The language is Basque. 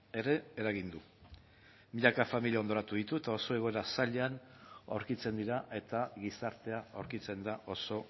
ere eragin du milaka familia hondoratu ditu eta oso egoera zailean aurkitzen dira eta gizartea aurkitzen da oso